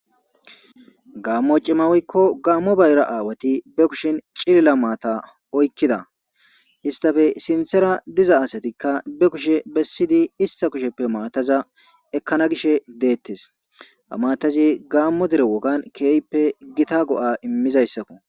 Gaamo cima woyko Gaamo bayira awati ba kushen ciilila maata oykkida. Issitappe sinttara diza asatikka ba kushe bessidi issitta kusheppe maataza ekkana gishe de'ettes. Ha maataze Gaamo dere wogan kehippe gita go'a immiza issa.